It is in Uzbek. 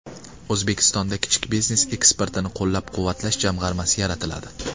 O‘zbekistonda Kichik biznes eksportini qo‘llab-quvvatlash jamg‘armasi yaratiladi.